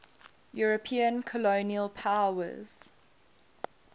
european colonial powers